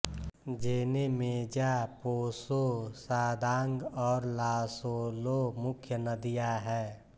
जेनेमेजा पोसो सादांग और लासोलो मुख्य नदियाँ हैं